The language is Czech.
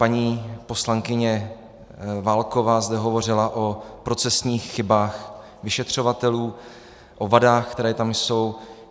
Paní poslankyně Válková zde hovořila o procesních chybách vyšetřovatelů, o vadách, které tam jsou.